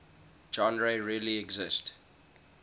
genres really exist